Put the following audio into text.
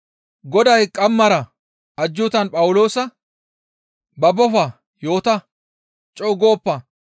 Goday qammaara ajjuutan Phawuloosa, «Babbofa; yoota; co7u gooppa;